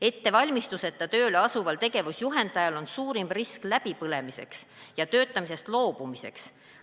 Ettevalmistuseta tööle asuval tegevusjuhendajal on suurem risk läbipõlemiseks ja töötamisest loobumiseks.